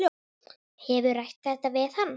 Hefurðu rætt þetta við hann?